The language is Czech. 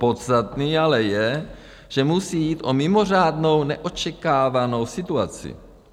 Podstatné ale je, že musí jít o mimořádnou, neočekávanou situaci.